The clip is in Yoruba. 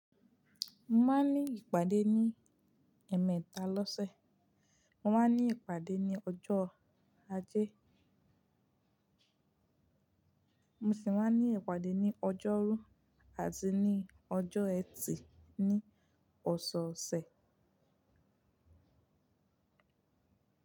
Mo máa ń ní ìpàdé ní ẹ̀ẹ̀mẹta lọ́sẹ̀, mo máa ń ní ìpàdé ní ọjọ́ Ajé, mo sì máa ń ní ìpàdé ní ọjọ́rú àti ní ọjọ́ ẹtì ní ọ̀sọ̀ọ̀sẹ̀.